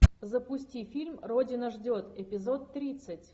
запусти фильм родина ждет эпизод тридцать